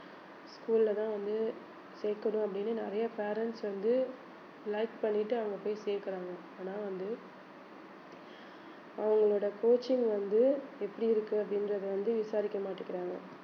school ல தான் வந்து சேர்க்கணும் அப்படின்னு நிறைய parents வந்து like பண்ணிட்டு அங்க போய் சேர்க்கிறாங்க ஆனா வந்து அவங்களோட coaching வந்து எப்படி இருக்கு அப்படின்றதை வந்து விசாரிக்க மாட்டேங்கிறாங்க